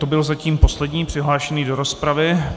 To byl zatím poslední přihlášený do rozpravy.